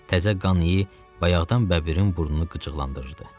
Təzə qan iyi bayaqdan bəbirin burnunu qıcıqlandırırdı.